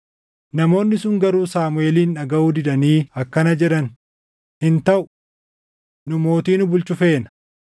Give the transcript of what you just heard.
Namoonni sun garuu Saamuʼeelin dhagaʼuu didanii akkana jedhan; “Hin taʼu! Nu mootii nu bulchu feena.